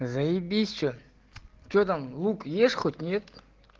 заибись что что там лук ешь хоть нет